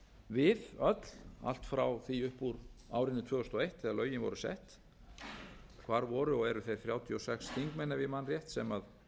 við öll allt frá því upp úr árinu tvö þúsund og eitt þegar lögin voru sett hvar voru og eru þeir þrjátíu og sex þingmenn ef ég man rétt sem